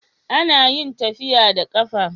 Anayin tafiya da qafa